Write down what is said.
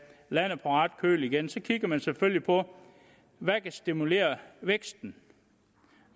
landet på ret køl igen så kigger man selvfølgelig på hvad der kan stimulere væksten